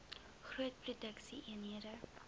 groot produksie eenhede